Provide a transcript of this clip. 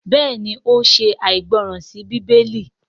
béèni o ṣe aìgbọràn sí Bíbélì.